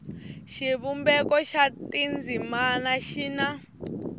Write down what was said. xivumbeko xa tindzimana xi na